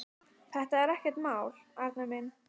Þetta er ekkert mál, Arnar minn.